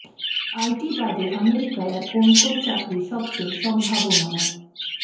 IT বাদে আমেরিকায় আর কোন কোন চাকরি সবচেয়ে সম্ভাবনাময়